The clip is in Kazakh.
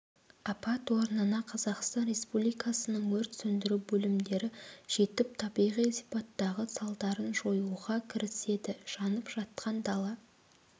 апат орнына қазақстан республикасының өрт сөндіру бөлімдері жетіп табиғи сипаттағы салдарын жоюға кіріседі жанып жатқан дала